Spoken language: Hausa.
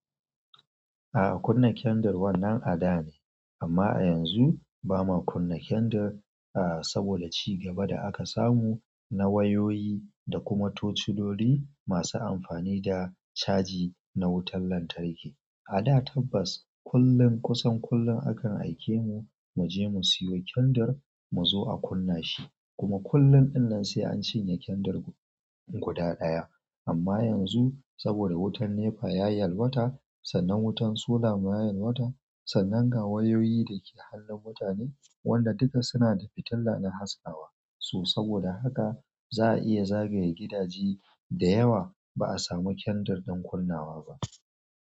A'a kunna kendir wannan a da ne amma a yanzu ba ma kunna kendir a'a saboda ci gaba da aka samu na wayoyi da kuma tociloli masu amfani da caji na wutan lantarki. A da tabbas kullum kusan kullum akan aike mu mu je mu siyo kendir mu zo a kunna shi kuma kullun ɗinnan sai an cinye kendir guda ɗaya. Amma yanzu saboda wutan NEPA ya yi yalwata sannan wutan solar ma ya yalwata, sannan ga wayoyi da ke hannun mutane wanda duka suna da fitila na haskawa su saboda haka za a iya zagaye gidaje da yawa ba a samu kendir don kunnawa ba.